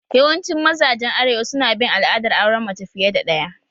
Yawancin mazajen arewa su na bin al'adar auren mace fiye da ɗaya